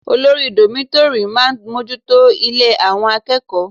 Olórí dómítórì máa bójú tó ilé àwọn akẹ́kọ̀ọ́